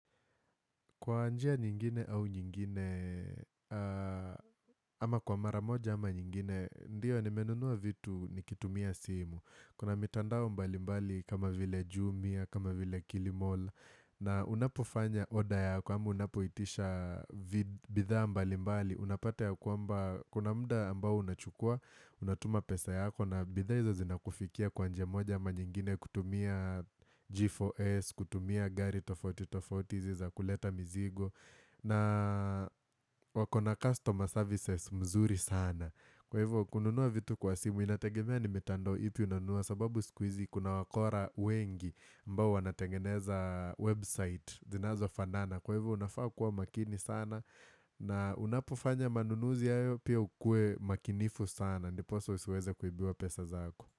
Kwa njia nyingine au nyingine, ama kwa maramoja ama nyingine, ndiyo nimenunuwa vitu nikitumia simu. Kuna mitandao mbali mbali kama vile Jumia, kama vile Kilimall, na unapofanya order yako ama unapoitisha vitu bidhaa mbali mbali, unapata ya kwamba, kuna muda ambao unachukua, unatuma pesa yako na bidhaa hizo zina kufikia kwa njia moja ama nyingine kutumia G4S, kutumia gari tofauti tofauti hizi za kuleta mizigo na wakona customer services mzuri sana kwa hivyo kununuwa vitu kwa simu inategemea nimitandao ipi unanunuwa sababu sikuhizi kuna wakora wengi ambao wanatengeneza website zinazo fanana kwa hivyo unafaa kuwa makini sana na unapofanya manunuzi ayo pia ukue makinifu sana ndiposa usiweze kuibiwa pesa zako.